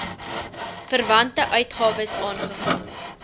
verwante uitgawes aangegaan